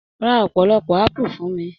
Ra ọpọlọpọ apu fún mí.